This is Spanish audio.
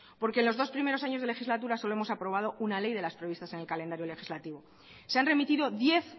porque en los dos primeros años de legislatura solo hemos aprobado una ley de las previstas en el calendario legislativo se han remitido diez